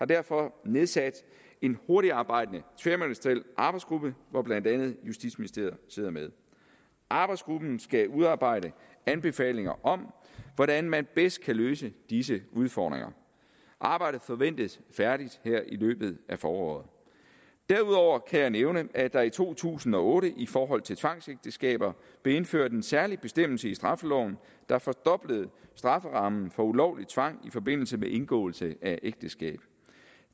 derfor nedsat en hurtigtarbejdende tværministeriel arbejdsgruppe hvor blandt andet justitsministeriet sidder med arbejdsgruppen skal udarbejde anbefalinger om hvordan man bedst kan løse disse udfordringer arbejdet forventes færdigt her i løbet af foråret derudover kan jeg nævne at der i to tusind og otte i forhold til tvangsægteskaber blev indført en særlig bestemmelse i straffeloven der fordoblede strafferammen for ulovlig tvang i forbindelse med indgåelse af ægteskab